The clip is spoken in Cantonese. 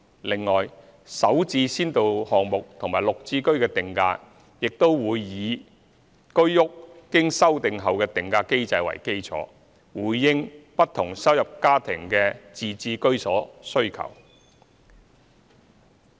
另外，"首置"先導項目和"綠置居"的定價亦會以居屋經修定後的定價機制為基礎，回應不同收入家庭的自置居所需求。